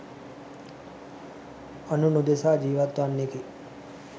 අනුන් උදෙසා ජීවත්වන්නෙකි.